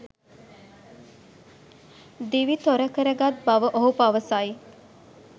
දිවි තොර කර ගත් බව ඔහු පවසයි